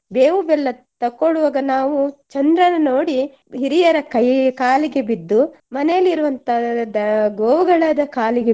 ಬೇವು ಬೆಲ್ಲ ತಕೊಳುವಾಗ ನಾವು ಚಂದ್ರನ ನೋಡಿ ಹಿರಿಯರ ಕೈ ಕಾಲಿಗೆ ಬಿದ್ದು ಮನೆಯಲ್ಲಿ ಇರುವಂತ ದ~ ಗೋವುಗಳದ ಕಾಲಿಗೆ